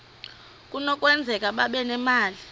kunokwenzeka babe nemali